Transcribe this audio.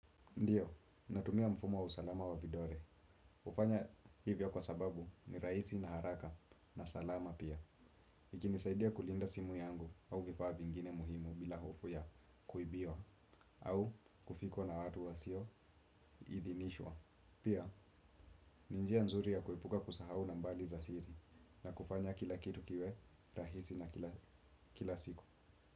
Ndiyo, natumia mfumo wa usalama wa vidole. Hfanya hivyo kwa sababu ni rahisi na haraka na salama pia. Ikinisaidia kulinda simu yangu au vifaa vingine muhimu bila hofu ya kuibiwa. Au kufikwa na watu wa sio idhinishwa. Pia, ni njia nzuri ya kuepuka kusahau nambari za siri na kufanya kila kitu kiwe rahisi na kila siku.